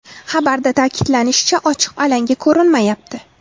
Xabarda ta’kidlanishicha, ochiq alanga ko‘rinmayapti.